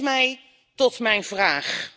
Dat brengt mij tot mijn vraag.